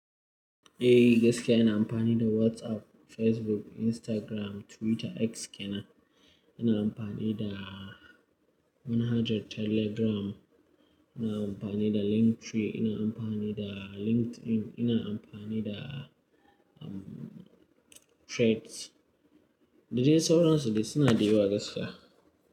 Eh gaskiya ina amfani da WhatsApp, Facebook, Instagram, Twitter, X kenan. Ina amfani da manhajar Telegram, ina amfani da Linktree, ina amfani da LinkedIn, ina amfani da, um, Threads. Da dai sauransu da suna da yawa gaskiya.